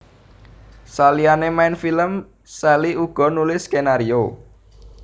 Saliyané main film Sally uga nulis skenario